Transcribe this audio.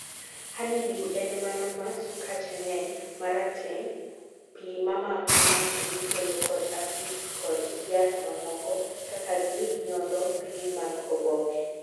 honey dew en mano ma sukache ng'eny, marateng' pi mamako ng'ato mikelo kod afids kod jaath mamoko kaka ginyodho pige mag oboke